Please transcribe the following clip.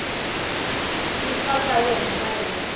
titwa ka yena mayelana na